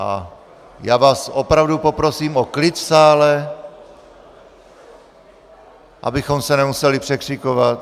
A já vás opravdu poprosím o klid v sále, abychom se nemuseli překřikovat.